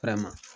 Fara ma